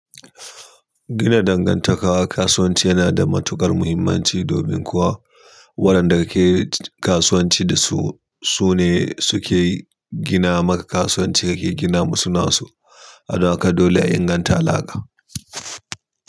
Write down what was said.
Gina dangantaka rma kasuwanci yana da matuƙar muhimmanci, domin kuwa waɗanda kake kasuwanci da su su ne suke gina maka kasuwanci da suke gina masu na so. A dan aka dole a inganta alaƙa.